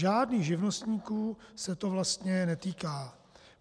Žádných živnostníků se to vlastně netýká.